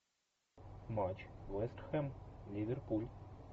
матч вест хэм ливерпуль